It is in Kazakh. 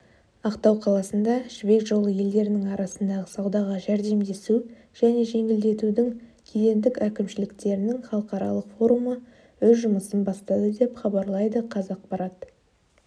ақтау қаласында жібек жолы елдерінің арасындағы саудаға жәрдемдесу және жеңілдетудің кедендік әкімшіліктерінің халықаралық форумы өз жұмысын бастады деп хабарлайды қазақпарат